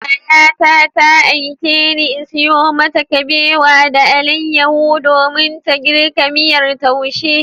Yayata ta aikeni in sayo mata kabewa da alayyahu domin ta girka miyar taushe.